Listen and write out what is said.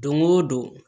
Don o don